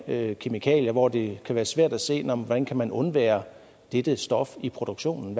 med kemikalier hvor det kan være svært at se hvordan man kan undvære dette stof i produktionen